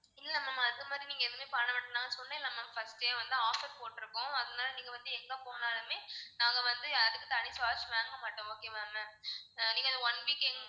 இல்ல அது மாதிரி நீங்க எதுவுமே பண்ண வேண்டாம் நான் சொன்னேன்ல first டே வந்து offer போட்டிருக்கோம் அதுனால நீங்க வந்து எங்க போனாலுமே நாங்க வந்து அதுக்கு தனி charge வாங்க மாட்டோம் okay வா ma'am ஆஹ் நீங்க அந்த one week